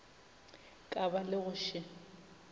ka ba le go še